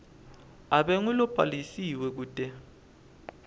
abe ngulobhalisiwe kute